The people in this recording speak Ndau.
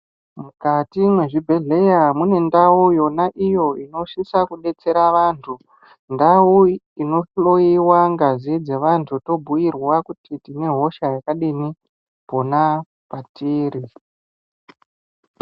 Mukati mwezvibhehleya mune ndau iyo yona inosisa kudetsera vantu. Ndau inohloyiwa ngazi dzevantu tobhuyirwa kuti tine hosha yakadini pona patiri.